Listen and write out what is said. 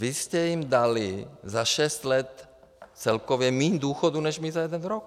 Vy jste jim dali za šest let celkově míň důchodu než my za jeden rok.